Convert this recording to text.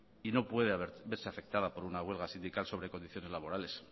y no puede verse afectada por una huelga sindical sobre condiciones laborales